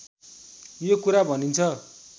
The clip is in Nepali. यो कुरा भनिन्छ